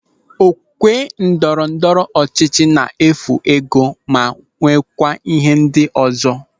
Okwe ndọrọ ndọrọ ọchịchị na-efu ego ma nweekwa ihe ndị ọzọ.